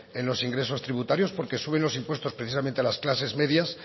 en los ingresos tributarios porque suben los impuestos precisamente a las clases medias